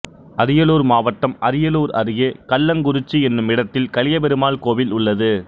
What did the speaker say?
அரியலூர் மாவட்டம் அரியலூர் அருகே கல்லங்குறிச்சி என்னுமிடத்தில் கலியபெருமாள் கோவில் உள்ளது